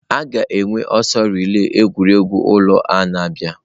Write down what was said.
A ga-enwe ọsọ relai egwuregwu ụlọ a na-abịa.